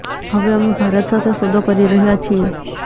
હવે અમે ભારત સાથે સોદો કરી રહ્યા છીએ